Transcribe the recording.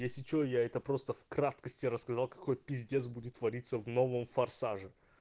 если что я это просто в краткости рассказал какой пиздец будет твориться в новом форсаже